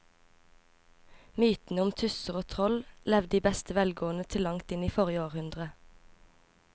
Mytene om tusser og troll levde i beste velgående til langt inn i forrige århundre.